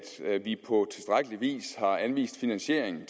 vi vis har anvist finansiering